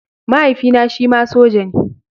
Mahaifina shima soja ne.